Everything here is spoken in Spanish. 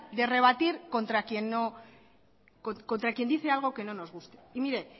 de rebatir contra quién dice algo que no nos guste y mire